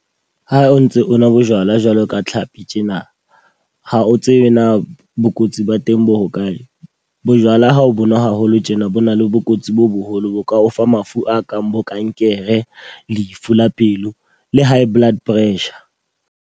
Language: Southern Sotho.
Ha o ntse o nwa bojwala jwalo ka tlhapi tjena. Ha o tsebe na bokotsi ba teng bo hokae. Bojwala ha o bo nwa haholo tjena bo na le bokotsi bo boholo bo ka o fa mafu a kang bo kankere, lefu la pelo, le high blood pressure.